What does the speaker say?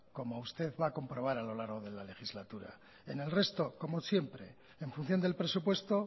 como usted va a comprobar a lo largo de la legislatura en el resto como siempre en función del presupuesto